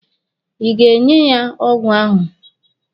Ị ga-nye ya ọgwụ ahụ?